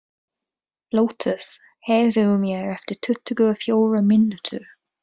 Lótus, heyrðu í mér eftir tuttugu og fjórar mínútur.